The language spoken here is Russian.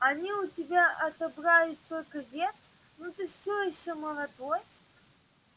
они у тебя отобрали столько лет но ты всё ещё молодой